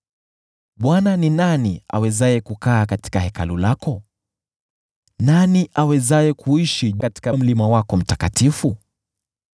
Bwana , ni nani awezaye kukaa katika Hekalu lako? Nani awezaye kuishi katika mlima wako mtakatifu?